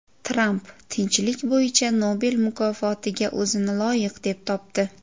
Tramp Tinchlik bo‘yicha Nobel mukofotiga o‘zini loyiq deb topdi.